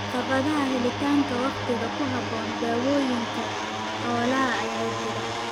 Caqabadaha helitaanka wakhtiga ku habboon dawooyinka xoolaha ayaa jira.